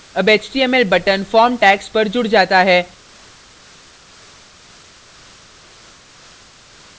an html button form tags पर जुड़ जाता है